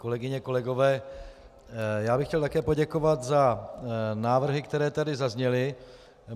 Kolegyně, kolegové, já bych chtěl také poděkovat za návrhy, které tady zazněly.